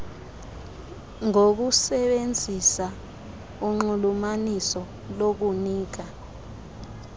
ngokusebenzisa unxulumaniso lokunika